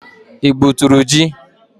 Ị gbuturu ji?